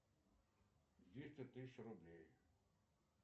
двести тысяч рублей